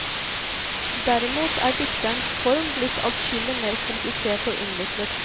Derimot er dikterens form blitt adskillig mer komplisert og innviklet.